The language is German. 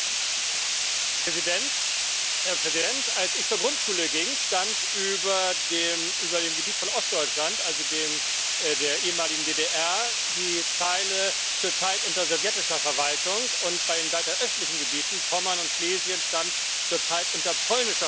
Herr Präsident! Als ich zur Grundschule ging, stand über dem Gebiet von Ostdeutschland, also dem der ehemaligen DDR, die Zeile Zurzeit unter sowjetischer Verwaltung, und bei den weiter östlichen Gebieten Pommern und Schlesien stand Zurzeit unter polnischer Verwaltung.